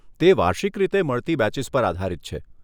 તે વાર્ષિક રીતે મળતી બેચીસ પર આધારિત છે.